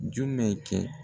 Jumɛn kɛ?